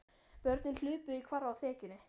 Börnin hlupu í hvarf á þekjunni.